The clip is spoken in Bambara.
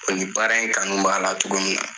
Bari ni baara in kanu b'a la togo min na